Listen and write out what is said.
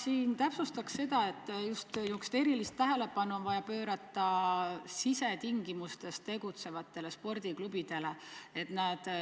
Ma täpsustaks seda, et erilist tähelepanu on vaja pöörata sisetingimustes tegutsevatele spordiklubidele.